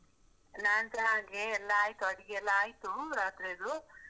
ನಾನ್ಸ ಹಾಗೆ ಎಲ್ಲಾ ಆಯ್ತು, ಅಡ್ಗಿ ಎಲ್ಲಾ ಆಯ್ತು ರಾತ್ರೆದು.